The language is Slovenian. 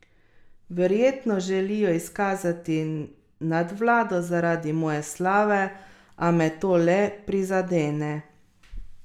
Verjetno želijo izkazati nadvlado zaradi moje slave, a me to le prizadane.